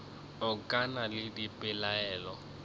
a ke na le dipelaelo